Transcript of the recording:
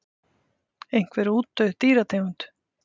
Einhver útdauð dýrategund.